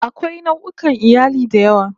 Akwai nau'ukan iyali da yawa